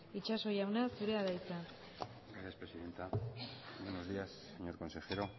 itxaso jauna zurea da hitza señora presidenta buenos días señor consejero